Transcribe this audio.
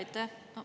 Aitäh!